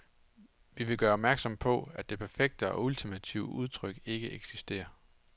Vi vil gøre opmærksom på, at det perfekte og ultimative udtryk ikke eksisterer.